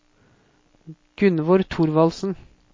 Gunnvor Thorvaldsen